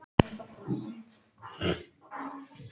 Það hefði verið gott að komast út í smástund.